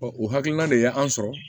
o hakilina de ye an sɔrɔ